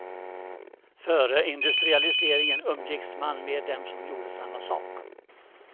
Före industrialiseringen umgicks man med dem som gjorde samma sak.